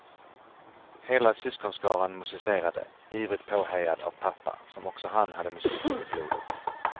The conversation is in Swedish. Hela syskonskaran musicerade, ivrigt påhejad av pappa, som också han hade musiken i blodet.